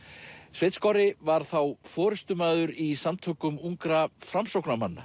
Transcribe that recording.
sveinn var þá forystumaður í Samtökum ungra